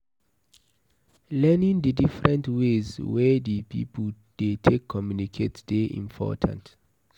Learning di different ways wey di people dey take communicate dey important